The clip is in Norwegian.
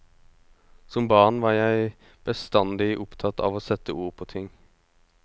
Som barn var jeg bestandig opptatt av å sette ord på ting.